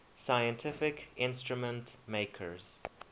scientific instrument makers